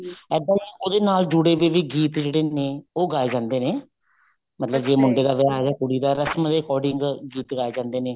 ਇੱਦਾਂ ਹੀ ਉਹਦੇ ਨਾਲ ਜੁੜੇ ਵਏ ਵੀ ਗੀਤ ਜਿਹੜੇ ਨੇ ਉਹ ਗਾਏ ਜਾਂਦੇ ਨੇ ਮਤਲਬ ਜੇ ਮੁੰਡੇ ਦਾ ਵਿਆਹ ਹੈ ਕੁੜੀ ਦਾ ਰਸਮ according ਗੀਤ ਗਾਏ ਜਾਂਦੇ ਨੇ